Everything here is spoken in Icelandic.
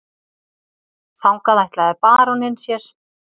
Þangað ætlaði baróninn sér.